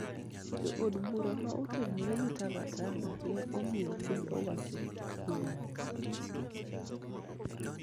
Jo od bura ma otenore gi Tangatanga ne omiyo piny owacho kum